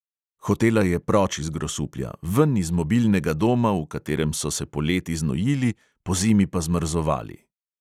Hotela je proč iz grosuplja, ven iz mobilnega doma, v katerem so se poleti znojili, pozimi pa zmrzovali.